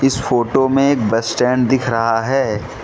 इस फोटो में एक बस स्टैंड दिख रहा है।